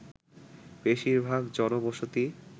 বেশিরভাগ জনবসতি